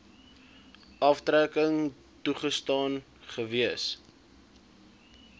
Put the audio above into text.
aftrekking toegestaan gewees